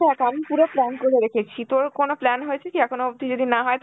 দেখ আমি পুরো plan করে রেখেছি, তোর কোনো plan হয়েছে কি এখনো অব্দি? যদি না হয়